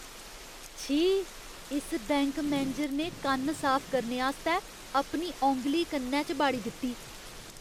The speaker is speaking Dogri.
छी। इस बैंक मैनेजर ने कन्न साफ करने आस्तै अपनी औंगली कन्नै च बाड़ी दित्ती ।